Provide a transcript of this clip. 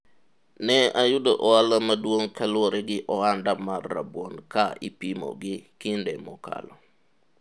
ne ayudo ohala maduong' kaluwore gi ohanda mar rabuon ka ipimo gi kinde mokalo